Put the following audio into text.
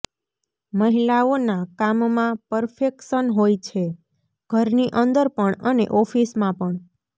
મહિલાઓના કામમાં પરફેક્શન હોય છે ઘરની અંદર પણ અને ઓફીસમાં પણ